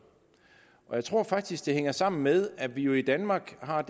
jeg tror faktisk det hænger sammen med at vi jo i danmark har